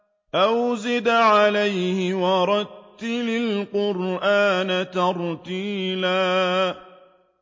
أَوْ زِدْ عَلَيْهِ وَرَتِّلِ الْقُرْآنَ تَرْتِيلًا